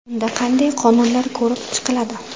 Unda qanday qonunlar ko‘rib chiqiladi?.